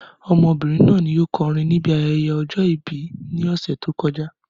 Ọmọbìnrin náà ni o kọrin níbi ayẹyẹ ọjọ ìbí ní ọ̀sẹ̀ tí o kọjá